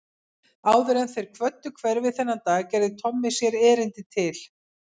Áður en þeir kvöddu hverfið þennan dag gerði Tommi sér erindi til